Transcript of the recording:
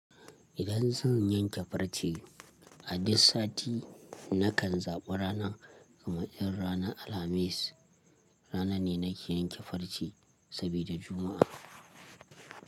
Idan zan yanke farce, a duk sati nakan zaɓi rana kamar irin ranar Alhamis. Rana ne nake yanke farce saboda Juma'a.